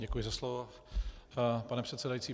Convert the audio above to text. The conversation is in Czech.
Děkuji za slovo, pane předsedající.